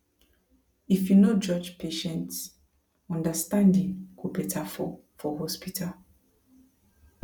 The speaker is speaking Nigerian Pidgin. if you no judge patients understanding go better for for hospital